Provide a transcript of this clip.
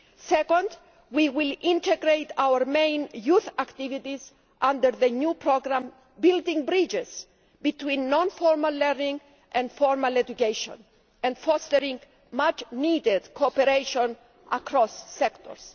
Second, we will integrate our main youth activities under the new programme building bridges between non formal learning and formal education, fostering much needed cooperation across sectors.